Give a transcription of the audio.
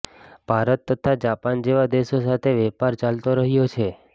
ભારત તથા જાપાન જેવા દેશો સાથે વેપાર ચાલતો રહ્યો છે